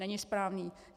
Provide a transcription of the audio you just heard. Není správný.